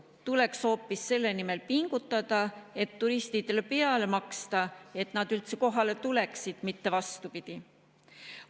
Tuleks hoopis selle nimel pingutada ja turistidele peale maksta, et nad üldse kohale tuleksid, mitte vastupidi.